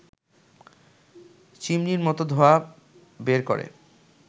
চিমনির মত ধোঁয়া বের করে